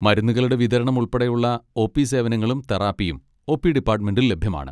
മരുന്നുകളുടെ വിതരണം ഉൾപ്പെടെയുള്ള ഒ. പി സേവനങ്ങളും തെറാപ്പിയും ഒ. പി ഡിപാട്ട്മെന്റിൽ ലഭ്യമാണ്.